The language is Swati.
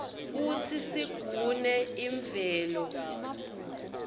kutsi sigune imvelo